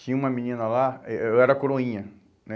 Tinha uma menina lá, eu era coroinha, né?